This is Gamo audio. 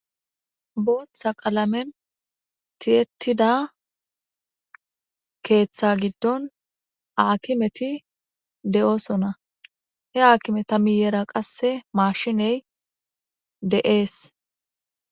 Booththa qalamen tiyettida keeththa giddon aakimeti de'oosona he aakimeta miyera qasse maashiney de'ees